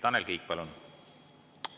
Tanel Kiik, palun!